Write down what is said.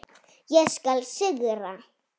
Ég skal sigra!